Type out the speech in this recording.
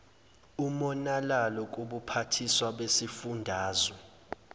umonalalo kubuphathiswa besifundazwe